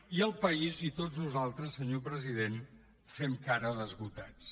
i el país i tots nosaltres senyor president fem cara d’esgotats